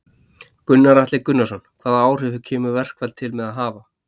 Gunnar Atli Gunnarsson: Hvaða áhrif kemur verkfall til með að hafa?